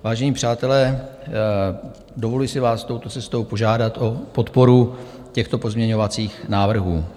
Vážení přátelé, dovoluji si vás touto cestou požádat o podporu těchto pozměňovacích návrhů.